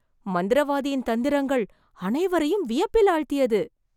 மந்திரவாதியின் தந்திரங்கள் அனைவரையும் வியப்பில் ஆழ்த்தியது,